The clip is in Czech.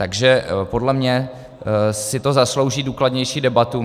Takže podle mě si to zaslouží důkladnější debatu.